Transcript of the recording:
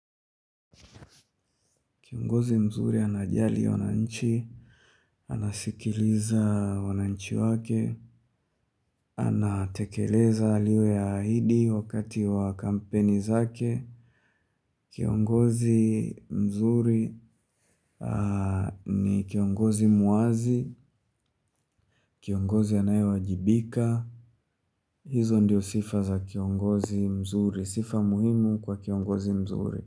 Kiongozi mzuri anajali wananchi, anasikiliza wananchi wake, anatekeleza aliyoyaahidi wakati wa kampeni zake. Kiongozi mzuri ni kiongozi muwazi, kiongozi anayewajibika. Hizo ndiyo sifa za kiongozi mzuri, sifa muhimu kwa kiongozi mzuri.